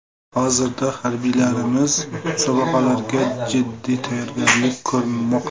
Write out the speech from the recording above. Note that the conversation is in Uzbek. Hozirda harbiylarimiz musobaqalarga jiddiy tayyorgarlik ko‘rmoqda.